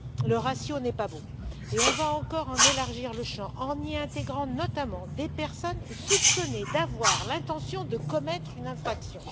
Le ratio n'est pas beau et on va encore en élargir le champ, en y intégrant notamment des personnes soupçonnées d'avoir l'intention de commettre une infraction.